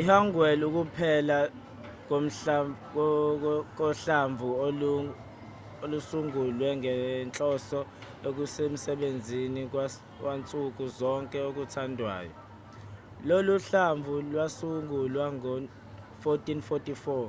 i-hangeul ukuphela kohlamvu olusungulwe ngenhloso ekusebenziseni kwansuku zonke okuthandwayo. lolu hlamvu lwasungulwa ngo-1444